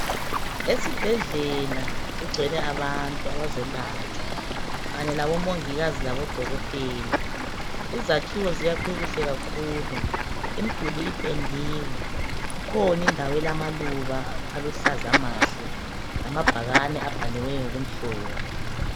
Esibhedlela kugcwele abantu abazolatshwa kanye labomongikazi labodokotela. Izakhiwo ziyakhwe kuhle kakhulu. Imduli ipendiwe. Kukhona indawo elamaluba aluhlaza amahle lama bhakane abhaliweyo okumhlophe.